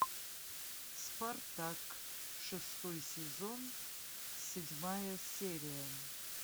спартак шестой сезон седьмая серия